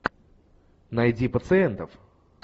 найди пациентов